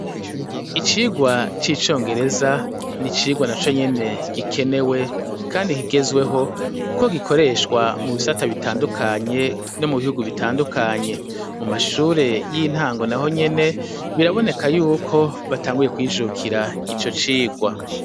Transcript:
Icigwa c'icongereza ni icigwa naco nyene gikenewe kandi kigezweho kuko gikoreshwa mu bisata bitandukanye no mu bihugu bitandukanye , mu mashure y'intango naho nyene biraboneka yuko batanguye kwijukira ico cigwa.